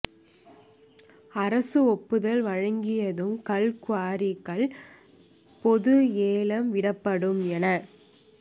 அரசு ஒப்புதல் வழங்கியதும் கல் குவாரிகள் பொது ஏலம் விடப்படும் என